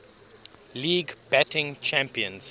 league batting champions